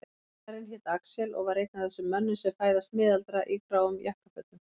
Kennarinn hét Axel og var einn af þessum mönnum sem fæðast miðaldra í gráum jakkafötum.